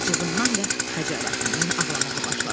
Acığından və xəcalətindən ağlamağa başladı.